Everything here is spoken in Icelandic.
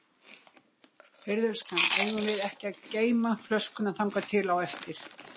Heyrðu elskan, eigum við ekki að geyma flöskuna þangað til á eftir.